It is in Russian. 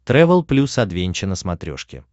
трэвел плюс адвенча на смотрешке